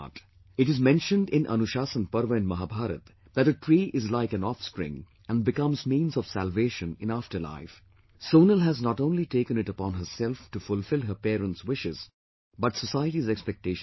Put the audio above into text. It is mentioned in Anushasan Parv in Mahabharata that a tree is like an offspring and becomes means of salvation in after life, Sonal has not only taken it upon herself to fulfill her parents' wishes but society's expectations also